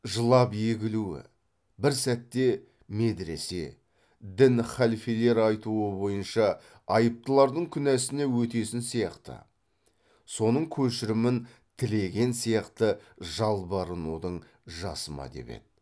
жылап егілуі бір сәтте медіресе дін халфелер айтуы бойынша айыптылардың күнәсіне өтесін сияқты соның көшірімін тілеген сияқты жалбарынудың жасы ма деп еді